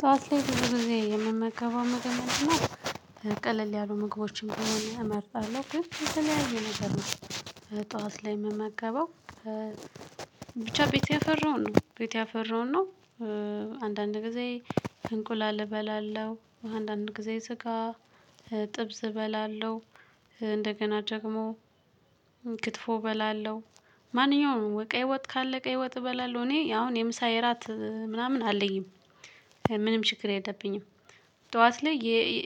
ጠዋት ላይ ብዙ ጊዜ የምመገበው ምግብ ምንድን ነው? ቀለል ያሉ ምግቦችን ቢሆነ እመርጣለሁ ግን የተለያዩ ነገር ነው። ጠዋት ላይ የምመገበው። ብቻ ቤት ያፈራውን ነው ቤት ያፈራውን ነው። አንዳንድ ጊዜ እንቁላል እበላለሁ አንዳንድ ጊዜ ስጋ ጥብስ እበላለሁ። እንደገና ደግሞ ክትፎ እበላለሁ። ማንኛውንም ቀይ ወጥ ካለ ቀይ ወጥ እበላለሁ። እኔ አሁን የምሳ የራት ምናምን አለኝም ምንም ችግር የለብኝም። ጠዋት ላይ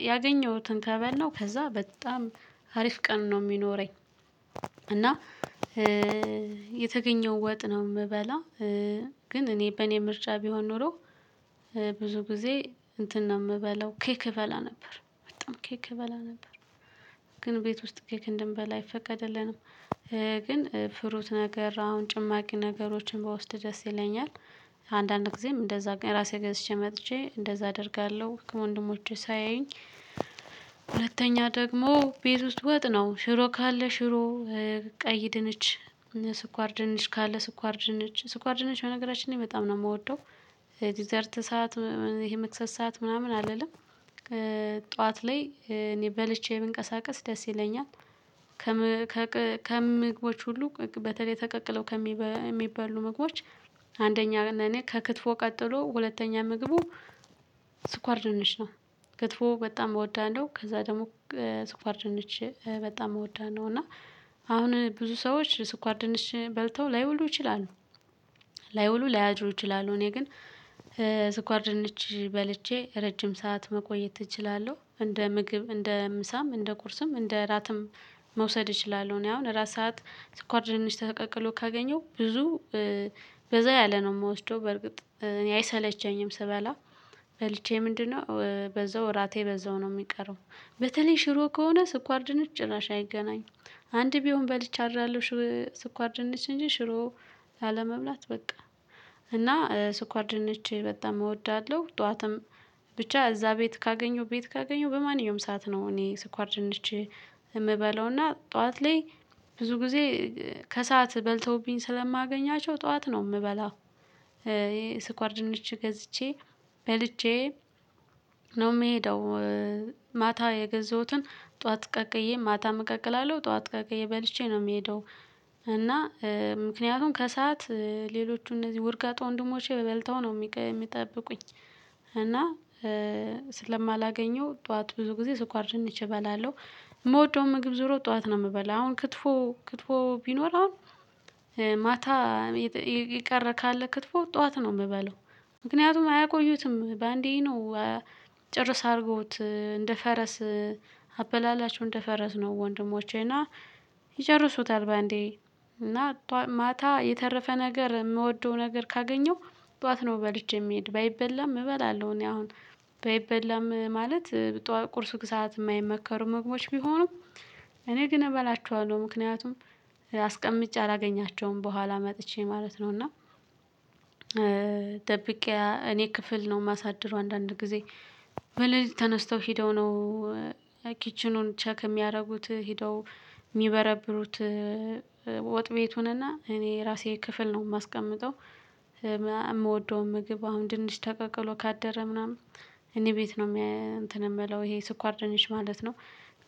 ያገኘሁትን ከበላሁ ከዛ በጣም አሪፍ ቀን ነው የሚኖረኝ። እና የተገኘውን ወጥ ነው የምበላው። ግን እኔ በእኔ ምርጫ ቢሆን ኖሮ። ብዙ ጊዜ እንትን ነው የምበላው ኬክ እበላ ነበር በጣም ኬክ እበላ ነበር። ግን ቤት ውስጥ ኬክ እንደንበላ አይፈቀድልንም። ግን ፍሩት ነገር አሁን ጭማቂ ነገሮችን ብወስድ ደስ ይለኛል። አንዳንድ ጊዜም እንደዛ ራሴ ገዝቼ መጥቼ እንደዛ አደርጋለሁ ወንድሞቼ ሳያዩኝ። ሁለተኛ ደግሞ ቤት ውስጥ ወጥ ነው ሽሮ ካለ ሽሮ። ቀይ ድንች ስኳር ድንች ካለ ስኳር ድንች ስኳር ድንች በነገራችን ላይ በጣም ነው የምወደው። ዲዛርት ሰዓት ይሄ መክሰስ ሰዓት ምናምን አለ አይደል? ጠዋት ላይ እኔ በልቼ ብንቀሳቀስ ደስ ይለኛል። ከምግቦች ሁሉ በተለይ ተቀቅለው ከሚባሉ ምግቦች አንደኛ እኔ ከክትፎ ቀጥሎ ሁለተኛ ምግቡ። ስኳር ድንች ነው። ክትፎ በጣም እወዳለሁ ከዛ ደግሞ ስኳር ድንች በጣም እወዳለሁ። እና አሁን ብዙ ሰዎች ስኳር ድንች በልተው ላይዉሉ ይችላሉ። ላይዉሉ ላያድር ይችላሉ እኔ ግን ስኳር ድርጅት በልቼ ረጅም ሰዓት መቆየት እችላለሁ። እንደ ምግብ እንደ ምሳም እንደ ቁርስም እንደ እራትም መውሰድ እችላለሁ። እኔ አሁን እራት ሰዓት ስኳር ድንች ተቀቅሎ ካገኘሁ ብዙ በዛ ያለ ነው የምወስደው። በርግጥ እኔ አይሰለቸኝም ስበላ በልቼ ምንድነው በዛው እራቴ በዛው ነው የሚቀረው። በተለይ ሽሮ ከሆነ ስኳር ድንች ጭራሽ አይገናኝም። አንድ ቢሆን በልቼ አድራለሁ ስኳር ድንች እንጂ ሽሮ ላለመብላት በቃ። እና ስኳር ድነች በጣም እወዳለሁ። ጠዋትም ብቻ እዛ ቤት ካገኘው ቤት ካገኘው በማንኛውም ሰዓት ነው እኔ ስኳር ጭንች የምበለው እና ጠዋት ላይ ብዙጊዜ ከሰአት በልተውብኝ ስለማገኛቸው ጠዋት ነው የምበላው። ስኳር ድንች ገዝቼ በልቼ ነው የምሄደው። ማታ የገዘሁትን ጠዋት ቀቅዬ ማታም እቀቅላለሁ አጠዋት ቀቅዬ በልቼ ነው የምሄደው። እና ምክንያቱም ከሰአት ሌሎቹ እነዚህ ወርጋጥ ወንድሞቼ በልተው ነው የሚጠብቁኝ። እና ስለማላገኘው ጠዋት ብዙ ጊዜ ስኳር ደንቼ እበላለሁ። የምወደው ምግብ ዞሮ ጠዋት ነው የምበላው። አሁን ክትፎ ክትፎ ቢኖር አሁን ማታ የቀረ ካለ ክትፎ ጠዋት ነው የምበለው። ምክንያቱም አያቆዩትም በአንዴ ነው። ጭርስ አድርጎት እንደ ፈረስ አበላላቸሁው እንደ ፈረስ ነው ወንድሞቼ እና ይጨርሱታል በአንዴ። እና ማታ የተረፈ ነገር የምወደው ነገር ካገኘው ጠዋት ነው በልቼ የሚሄድ ባይበላም እበላለሁ። እኔ አሁን ባይበላም ማለት ቁርስ ሰዓት የማይመከሩ መግባቶች ቢሆኑም እኔ ግን እበላችኋለሁ ምክንያቱም አስቀምጭ አላገኛቸውም በኋላ መጥቼ ማለት ነው። እና ደብቄ እኔ ክፍል ነው የማሳድረው አንዳንድ ጊዜ በሌሊት ተነስተው ሄደው ነው። ኪችኑን ቼክ የሚያደርጉት ሄደው የሚበረብሩት። ወጥ ቤቱን እና እኔ ራሴ ክፍል ነው የማስቀምጠው። የምወደው ምግብ አሁን ድንች ተቀቅሎ ካደረ ምናምን እኔ ቤት ነው የምለው ይሄ ስኳር ድንች ማለት ነው።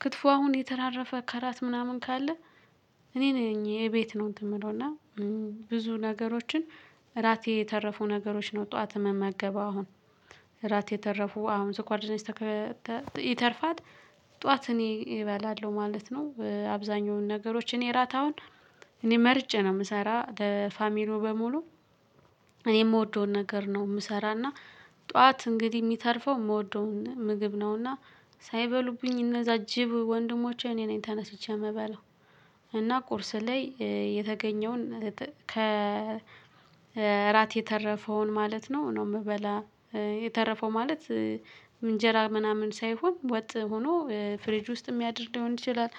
ክትፎ አሁን የተራረፈ ከራት ምናምን ካለ። እኔ ነኝ የቤት ነው እንትን የምለው እና ብዙ ነገሮችን እራቴ የተረፉ ነገሮች ነው። ጠዋት የምመገበው አሁን እራት የተረፉ አሁን ስኳር ድንችይተርፋል ጠዋት እኔ እባላለሁ ማለት ነው። አብዛኛውን ነገሮች እኔ እራት አሁን እኔ መርጬ ነው የምሰራ ለፋሚሉ በሙሉ። እኔ የምወደውን ነገር ነው የምሰራና ጠዋት እንግዲህ የሚተርፈው የምወደውን ምግብ ነውና። ሳይበሉብኝ እነዛ ጅብ ወንድሞቼ እኔ ነኝ ተነስቼ የምበላው። እና ቁርስ ላይ የተገኘውን ከእራት የተረፈውን ማለት ነው ነው የምበላዉየተረፈው ማለት። እንጀራ ምናምን ሳይሆን ወጥ ሆኖ ፍሪጅ ውስጥ የሚያድር ሊሆን ይችላል።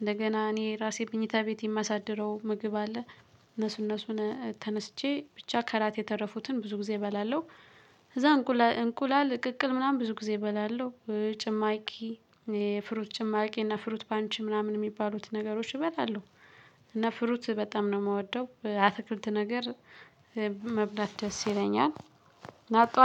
እንደገና እኔ ራሴ መኝታ ቤት የማሳድረው ምግብ አለ። እነሱ እነሱን ተነስቼ ብቻ ከራት የተረፉትን ብዙ ጊዜ የተረፉትን እበላለሁ። ከዛ እንቁላል እቅቅል ምናምን ብዙ ጊዜ እበላለሁ። ጭማሪ ፍሩት ጭማቂ እና ፍሩት ባንቺ ምናምን የሚባሉት ነገሮች እበላለሁ። እና ፍሩት በጣም ነው የምወደው አትክልት ነገር ብዙ መብላት ደስ ይለኛል።